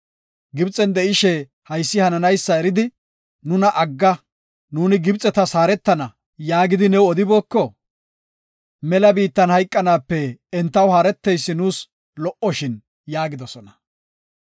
Gibxen de7ishe haysi hananaysa eridi, ‘Nuna agga nuuni Gibxetas haaretana’ yaagidi new odibooko? Mela biittan hayqanaape entaw haareteysi nuus lo77oshin” yaagidosona.